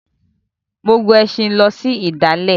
Mo gun ẹṣin lọ sí ìdálẹ̀.